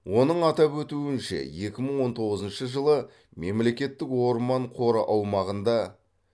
оның атап өтуінше екі мың он тоғызыншы жылы мемлекеттік орман қоры аумағында